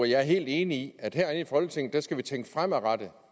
jeg er helt enig i at herinde i folketinget skal vi tænke fremadrettet